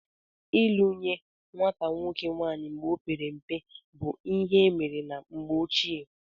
Ịlụ nye nwata nwoke nwaanyị mgbe ọ pere mpe bụ ihe emere na mgbe ochie